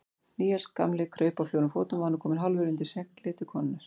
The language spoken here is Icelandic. Níels gamli kraup á fjórum fótum og var nú kominn hálfur undir seglið til konunnar.